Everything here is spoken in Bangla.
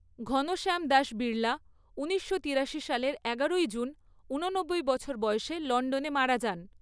ঘনশ্যাম দাস বিড়লা ঊনিশশো তিরাশি সালের এগারোই জুন উননব্বই বছর বয়সে লন্ডনে মারা যান।